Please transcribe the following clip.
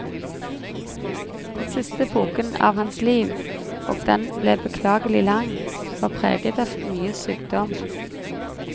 Den siste epoken av hans liv, og den ble beklagelig lang, var preget av mye sykdom.